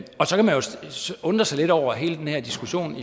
undre sig lidt over hele den her diskussion